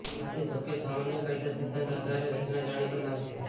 આ તે શક્ય સામાન્ય કાયદા સિદ્ધાંત આધારે રચના જાણી બનાવે છે